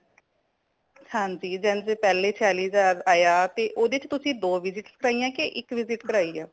ਹਾਂਜੀ ਜੇਨ ਸੇ ਪੈਲੇ ਛਯਾਲਿਹਜਾਰ ਆਯਾ ਤੇ ਓਦੇ ਵਿੱਚ ਤੁਸੀਂ ਦੋ visit ਕਾਰੀਆਂ ਕੀ ਇੱਕ visit ਕਰਾਈ ਹੈ।